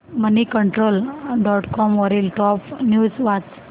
Moneycontrol dot com वरील top news वाच